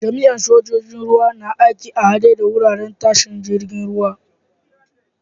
Jami'in sojoji'n ruwa na aiki a'hadde da wuraren tashar jirigin ruwa.